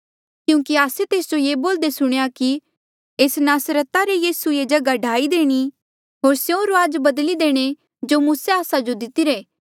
क्यूंकि आस्से तेस जो ये बोल्दे सुणेया कि एस नासरता रा यीसू ये जगहा ढाई देणी होर स्यों रुआज बदली देणे जो मूसे आस्सा जो दितीरे